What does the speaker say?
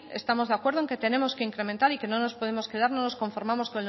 estamos de acuerdo el que tenemos que incrementar y que no nos podemos quedar no nos conformamos